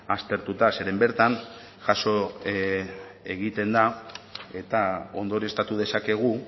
aztertuta zeren bertan jaso egiten da eta ondorioztatu dezakegu